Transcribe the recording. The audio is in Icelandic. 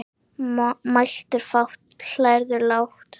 Mæltu fátt og hlæðu lágt.